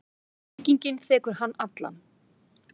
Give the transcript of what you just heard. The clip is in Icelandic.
Byggingin þekur hann allan.